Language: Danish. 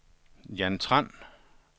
Jan Tran